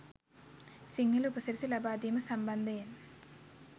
සිංහල උපසිරැසි ලබාදීම සම්බන්ධයෙන්.